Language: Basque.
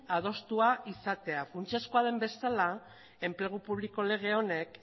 adostua izatea funtsezkoa den bezala enplegu publiko lege honek